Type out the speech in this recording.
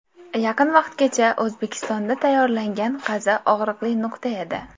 Yaqin vaqtgacha O‘zbekistonda tayyorlangan qazi og‘riqli nuqta edi.